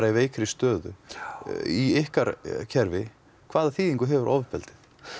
í veikri stöðu í ykkar kerfi hvaða þýðingu hefur ofbeldi